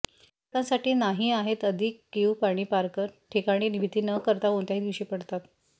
पर्यटकांसाठी नाही आहेत अधिक कीव पाणी पार्क ठिकाणी भीती न करता कोणत्याही दिवशी पडतात